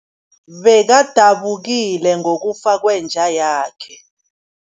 Bekadabukile ngokufa kwenja yakhe.